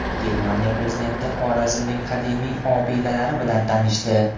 Germaniya prezidenti Xorazmning qadimiy obidalari bilan tanishdi .